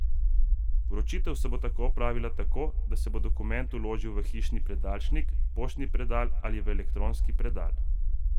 Vročitev se bo opravila tako, da se bo dokument vložil v hišni predalčnik, poštni predal ali v elektronski predal.